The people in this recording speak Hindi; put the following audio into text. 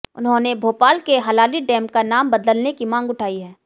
उन्होंने भोपाल के हलाली डैम का नाम बदलने की मांग उठाई है